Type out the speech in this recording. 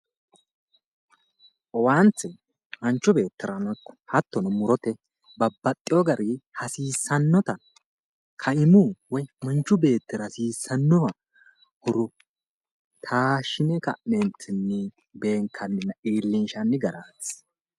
Owaante manchu beettirano ikko hattono murote babbaxxewo gari hasiissannota kaimu woyi manchu beettira hasissannoha horo taashshine ka'ne beenkanninna iilinshanni garaati